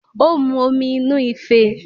Ó mu omi inú ife